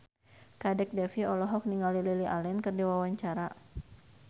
Kadek Devi olohok ningali Lily Allen keur diwawancara